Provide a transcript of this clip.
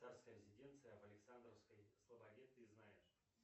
царская резиденция в александровской слободе ты знаешь